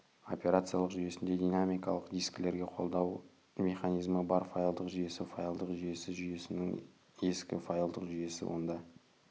операциялық жүйесінде динамикалық дискілерге қолдау механизмі бар файлдық жүйесі файлдық жүйесі жүйесінің ескі файлдық жүйесі онда